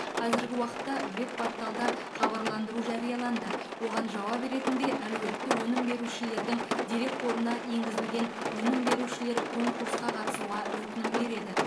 қазіргі уақытта веб порталда хабарландыру жарияланды оған жауап ретінде әлеуетті өнім берушілердің дерекқорына енгізілген өнім берушілер конкурсқа қатысуға өтінім береді